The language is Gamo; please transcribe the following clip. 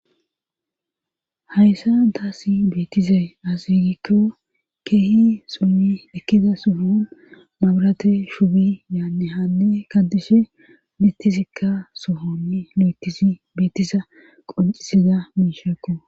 Hayssa daassi beetizay asigikko keehi summi ekkida suhon mabrate shubi yaanne hanne kadishe mittisikka sohonni lietisi beetisa qoncisida miishakko.